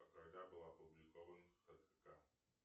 когда был опубликован хкг